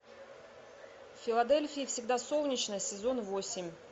в филадельфии всегда солнечно сезон восемь